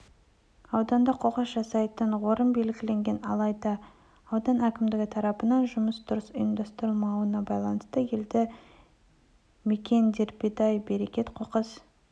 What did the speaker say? ауданда қоқыс тастайтын орын белгіленген алайда аудан әкімдігі тарапынан жұмыстың дұрыс ұйымдастырылмауына байланысты елді мекендердебей-берекет қоқыс